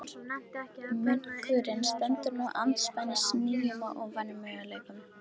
Munkurinn stendur nú andspænis nýjum og óvæntum möguleikum.